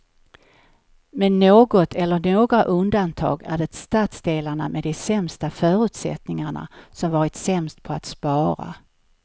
Med något eller några undantag är det stadsdelarna med de sämsta förutsättningarna som varit sämst på att spara.